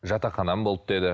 жатақханам болды деді